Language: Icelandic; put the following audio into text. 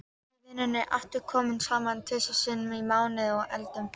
Við vinirnir átta komum saman tvisvar í mánuði og eldum.